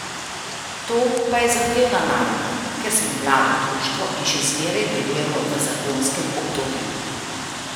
To je pa zahtevna naloga, ker smo mlado društvo in še zmeraj delujemo v zagonskem obdobju.